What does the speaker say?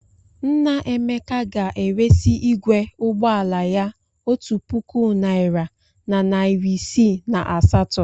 Nna Emeka ga-eresị igwe ụgbọ ala ya otu puku naịra na narị isii na asatọ.